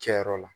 Cɛ yɔrɔ la